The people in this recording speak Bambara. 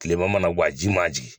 Kilema mana gɔ a ji man jigi.